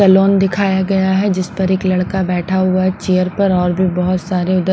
Salon दिखाया गया है जिस पर एक लड़का बैठा हुआ है चेयर पर और भी बहुत सारी।